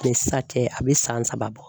Ni sisan cɛ a bɛ san saba bɔ.